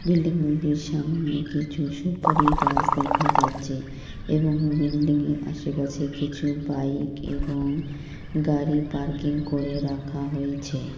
Building এর সামনে কিছু সুপারি গাছ দেখা যাচ্ছে এবং বিল্ডিং -এ আশেপাশে কিছু বাইক এবং গাড়ি পার্কিং করে রাখা হয়েছে।